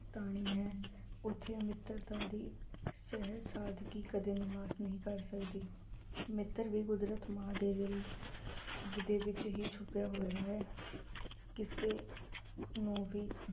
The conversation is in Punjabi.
ਤਾਣੀ ਹੈ ਉੱਥੇ ਮਿੱਤਰਤਾ ਦੀ ਸਹਿਜ ਸਾਦਗੀ ਕਦੇ ਨਿਵਾਸ ਨਹੀਂ ਕਰ ਸਕਦੀ, ਮਿੱਤਰ ਵੀ ਕੁਦਰਤ ਮਾਂ ਦੇ ਦਿਲ ਦੇ ਵਿੱਚ ਹੀ ਛੁੱਪਿਆ ਹੋਇਆ ਹੈ, ਕਿਸੇ ਨੂੰ ਵੀ